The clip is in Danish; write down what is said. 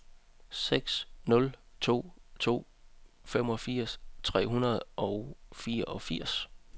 seks nul to to femogfirs tre hundrede og fireogfirs